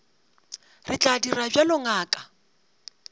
re tla dira bjalo ngaka